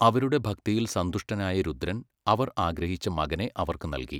അവരുടെ ഭക്തിയിൽ സന്തുഷ്ടനായ രുദ്രൻ അവർ ആഗ്രഹിച്ച മകനെ അവർക്ക് നൽകി.